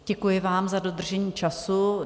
Děkuji vám za dodržení času.